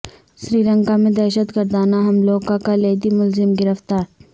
سری لنکا میں دہشت گردانہ حملوں کا کلیدی ملزم گرفتار